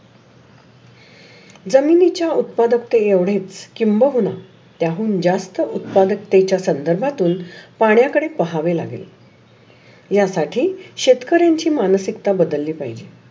जमिनीच्या उत्पादकतेने एवढे किंबगून त्याहून जास्त उत्पादकतेच्या संदर्भातून पाण्याकरीत पाहावे लागेल. या साठी शेतकरींची मानसिकता बदली पाहीजे.